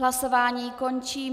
Hlasování končím.